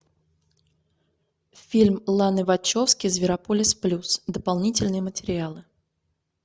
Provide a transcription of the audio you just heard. фильм ланы вачовски зверополис плюс дополнительные материалы